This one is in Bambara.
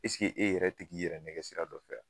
e yɛrɛ tɛg'i i yɛrɛ nɛgɛ sira dɔ fɛ wa ?